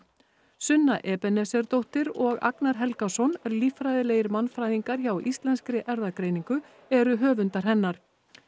sunna Ebenesersdóttir og Agnar Helgason líffræðilegir mannfræðingar hjá Íslenskri erfðagreiningu eru höfundar hennar